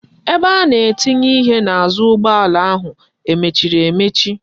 Ebe a na etinye ihe n'azu ugboala ahu emechiri emechi?